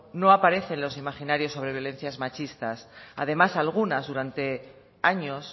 no no aparecen en los imaginarios sobre violencias machistas además algunas durante años